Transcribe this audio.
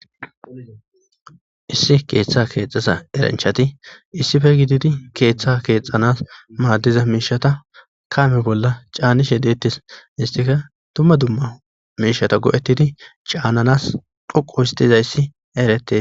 Issi keeththa keexxesa eranchchati issife gididi keeththa keexxanaas maaddiza miishshatha kaame bolla caanishe deeththes; histhika dumma dumma miishshatha go7eththidi caananaas dhoqqu histhizayssi erethee.